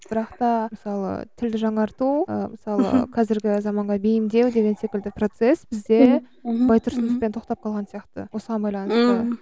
бірақта мысалы тілді жаңарту ы мысалы қазіргі заманға бейімдеу деген секілді процесс бізде байтұрсыновпен тоқтап қалған сияқты осыған байланысты